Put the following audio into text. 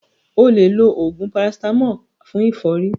O lè lo oògùn parasítámọ̀ fún ẹ̀fọ́rí.